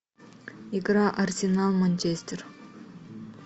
игра арсенал манчестер